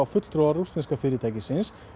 fulltrúa rússneska félagsins